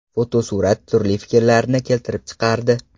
Fotosurat turli fikrlarni keltirib chiqardi.